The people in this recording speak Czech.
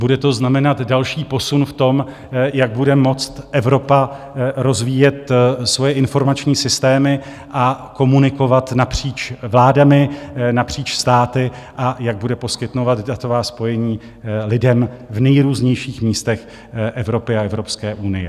Bude to znamenat další posun v tom, jak bude moct Evropa rozvíjet svoje informační systémy a komunikovat napříč vládami, napříč státy a jak bude poskytovat datová spojení lidem v nejrůznějších místech Evropy a Evropské unie.